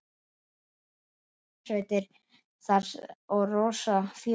Það verða þrjár hljómsveitir þar og rosa fjör.